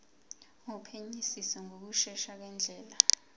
wophenyisiso ngokushesha ngendlela